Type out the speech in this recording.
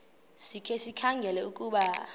sikhe sikhangele ukuba